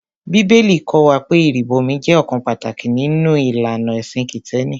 Bíbélì kọ́ wa pé ìrìbọmi jẹ́ ọ̀kan pàtàkì nínú ìlànà ẹ̀sìn Kìtẹ́ẹ́nì.